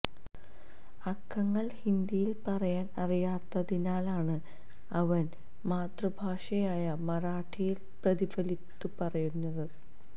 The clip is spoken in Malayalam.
അക്കങ്ങള് ഹിന്ദിയില് പറയാന് അറിയാത്തതിനാലാണ് അവന് മാതൃഭാഷയായ മറാഠിയില് പ്രതിഫലത്തുക പറഞ്ഞത്